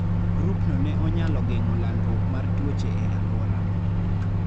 Grupno ne onyalo geng'o landruok mar tuoche e alworano.